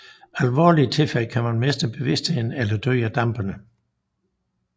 I alvorlige tilfælde kan man miste bevidstheden eller dø af dampene